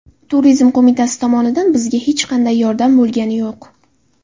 Turizm qo‘mitasi tomonidan bizga hech qanday yordam bo‘lgani yo‘q.